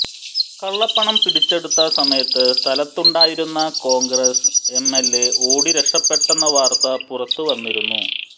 കള്ളപ്പണം പിടിച്ചെടുത്ത സമയത്ത് സ്ഥലത്തുണ്ടായിരുന്ന കോൺഗ്രസ് എംഎൽഎ ഓടി രക്ഷപ്പെട്ടെന്ന വാർത്ത പുറത്ത് വന്നിരുന്നു